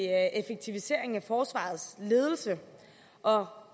forsvarets ledelse og